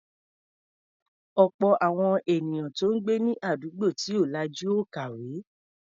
Ọ̀pọ̀ àwọn ènìyàn tó ń gbé ní àdúgbò tí ò lajú ò kàwé.